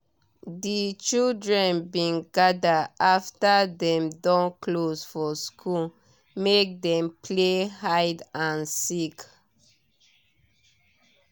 di children bin gather after dem don close for school make dem play hide and seek